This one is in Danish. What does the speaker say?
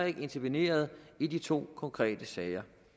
ikke interveneret i de to konkrete sager